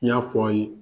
N y'a fɔ aw ye